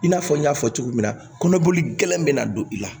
I n'a fɔ n y'a fɔ cogo min na kɔnɔboli gɛlɛn bɛ na don i la